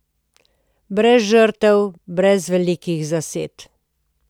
Brez žrtev, brez velikih zased.